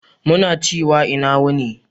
Muna ciwa ina yini.